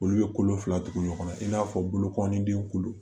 Olu bɛ kolo fila tugu ɲɔgɔnna i n'a fɔ bolokɔlidenw kolo